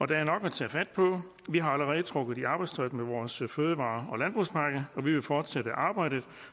der er nok at tage fat på vi er allerede trukket i arbejdstøjet med vores fødevare og landbrugspakke og vi vil fortsætte arbejdet